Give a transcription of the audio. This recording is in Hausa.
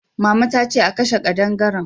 Mama ta ce a kashe kadangaren